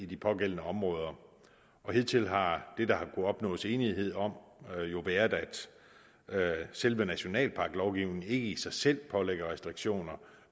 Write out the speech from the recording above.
de pågældende områder hidtil har det der har kunnet opnås enighed om været at at selve nationalparklovgivningen ikke i sig selv pålægger restriktioner